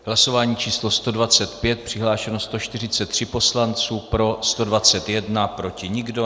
Hlasování číslo 125, přihlášeno 143 poslanců, pro 121, proti nikdo.